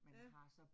Ja